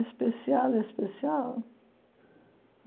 Especial, especial.